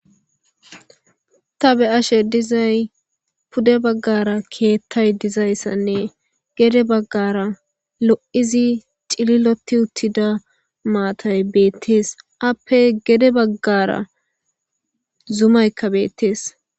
ta be7ashe dizay pude baggara keettay dizayssanne gede baggara lo7idi cililoti uttida maatay beettees appe gede baggara zumaykka beettees